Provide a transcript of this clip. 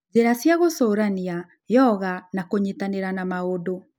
Njĩra cia gũcũrania, yoga, na kunyitanĩra na maũndũ